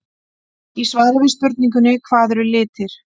Í svari við spurningunni Hvað eru litir?